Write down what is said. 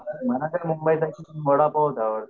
मला तर मुंबईचा वडापावचं आवडतो